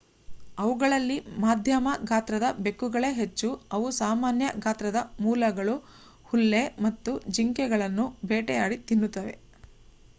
ಅವುಗಳಲ್ಲಿ ಮಧ್ಯಮ ಗಾತ್ರದ ಬೆಕ್ಕುಗಳೇ ಹೆಚ್ಚು ಅವು ಸಾಮಾನ್ಯ ಗಾತ್ರದ ಮೊಲಗಳು ಹುಲ್ಲೆ ಮತ್ತು ಜಿಂಕೆಗಳನ್ನು ಬೇಟೆಯಾಡಿ ತಿನ್ನುತ್ತವೆ